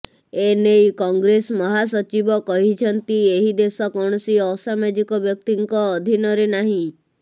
ଏନେଇ କଂଗ୍ରେସ ମହାସଚିବ କହିଛନ୍ତି ଏହି ଦେଶ କୌଣସି ଅସାମାଜିକ ବ୍ୟକ୍ତିଙ୍କ ଅଧିନରେ ନାହିଁ